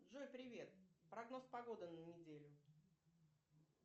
джой привет прогноз погоды на неделю